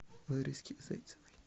лариске зайцевой